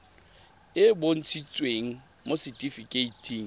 e e bontshitsweng mo setifikeiting